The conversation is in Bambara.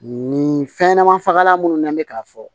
Nin fɛnɲɛnɛma fagalan minnu n'an bɛ k'a fɔ